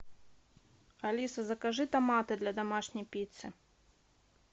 алиса закажи томаты для домашней пиццы